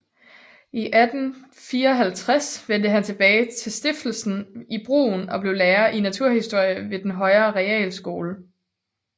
I 1854 vendte han tilbage til stiftelsen i Brünn og blev lærer i naturhistorie ved den højere realskole